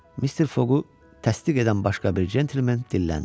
Mister Foqu təsdiq edən başqa bir centlmen dilləndi.